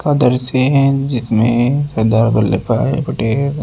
का दृश्य हैं जिसमें सरदार वल्लभ भाई पटेल--